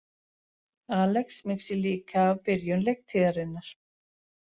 Alex missir líka af byrjun leiktíðarinnar